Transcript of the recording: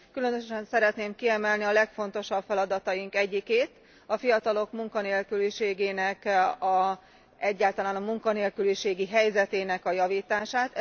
Különösen szeretném kiemelni a legfontosabb feladataink egyikét, a fiatalok munkanélküliségének, egyáltalán a munkanélküliségi helyzetének a javítását.